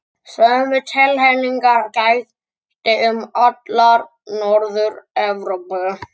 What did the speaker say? Sömu tilhneigingar gætti um alla Norður-Evrópu.